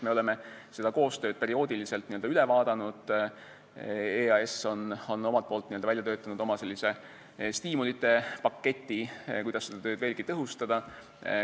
Me oleme seda koostööd perioodiliselt n-ö üle vaadanud, EAS on välja töötanud oma stiimulite paketi, kuidas seda tööd veelgi tõhustada.